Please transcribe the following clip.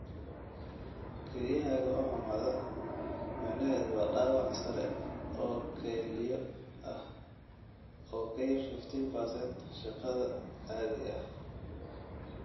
Kelyaha oo xumaada macnaheedu waa dhaawac sare oo kelyo ah oo ka yar 15% shaqada caadiga ah.